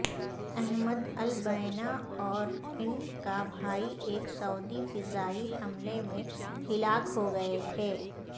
Ahmad Albina اور ان کا بھائی ایک سعودی فضائی حملے میں ہلاک ہوگئے تھے